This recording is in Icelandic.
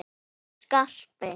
Hann Skarpi?